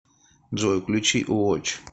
джой включи вотч